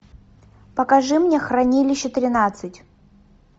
покажи мне хранилище тринадцать